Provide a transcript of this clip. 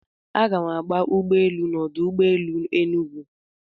Aga m agba ụgbọ elu na ọdụ ụgbọ elu Enugwu.